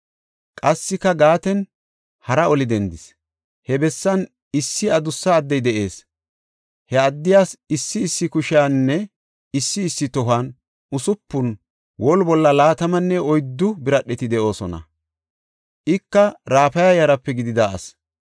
Qassika Gaaten hara oli dendis. He bessan issi adussa addey de7ees. He addiyas issi issi kushiyaninne issi issi tohuwan usupun, woli bolla laatamanne oyddu biradheti de7oosona. Ika Raafa yaraape gidida asi.